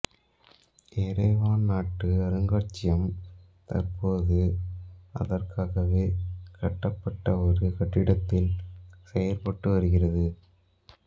Yerevan நாட்டு அருங்காட்சியம் தற்போது அதற்காகவே கட்டப்பட்ட ஒரு கட்டிடத்தில் செயற்பட்டு வருகிறது